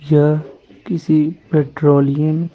यह किसी पेट्रोलियम --